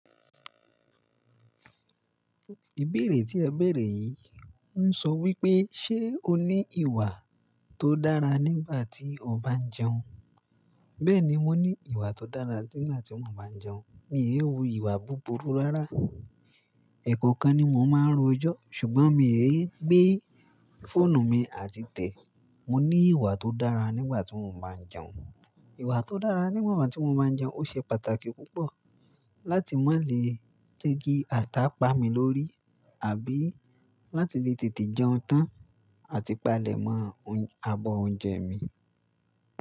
Ìbéèrè tí ẹ bèrè yìí ń sọ wípé, ṣe o ní ìwà tó dára nígbà tí o bá ń jẹun? Bẹ́ẹ̀ni mo ní ìwà tó dára nígbà tí mo bá ń jẹun. Mi e wu ìwà búburú rárá. Ẹ̀kọ̀okan ni mo máa ń ro ejọ́ ṣùgbọ́n mi e gbé fóònù mi àti tẹ̀. Mo ní ìwà tó dára nígbà tí mo bá ń jẹun. Ìwà tó dára nígbà tí mo bá ń jẹun ó ṣe pàtàkì púpọ̀ láti má lè jẹ́ki àtà pá mi lórí àbí láti lè tètè jẹun tán àti palẹ̀ mọ́ abọ́ oúnjẹ mi.